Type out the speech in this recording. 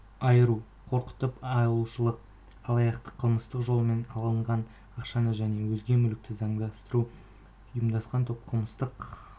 айыру қорқытып алушылық алаяқтық қылмыстық жолмен алынған ақшаны және өзге мүлікті заңдастыру ұйымдасқан топ қылмыстық